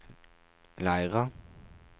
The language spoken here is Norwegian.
Leira